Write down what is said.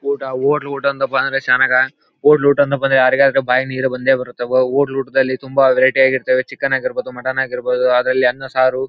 ಊಟ ಹೋಟ್ಲು ಊಟ ಅಂದ್ರೆ ಬಲ ಶಾನೇ ಅದಾ ಹೋಟ್ಲು ಊಟ ಅಂದ್ರೆ ಯಾರಿಗಾದ್ರೂ ಬಾಯಲ್ಲಿ ನೀರು ಬಂದೆ ಬರುತ್ತೆ ವೊ ಹೋಟ್ಲು ಊಟ ದಲ್ಲಿ ತುಂಬಾ ವೆರೈಟಿ ಆಗಿರುತ್ತದೆ ಚಿಕನ್ ಆಗಿರಬಹುದು ಮಟನ್ ಆಗಿರಬಹುದು ಅದರಲ್ಲಿ ಅನ್ನ ಸಾರು--